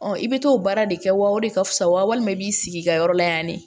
i bɛ t'o baara de kɛ wa o de ka fusa walima i b'i sigi i ka yɔrɔ la yan ne